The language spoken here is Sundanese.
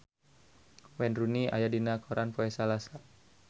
Wayne Rooney aya dina koran poe Salasa